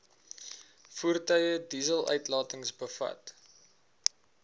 voertuie dieseluitlatings bevat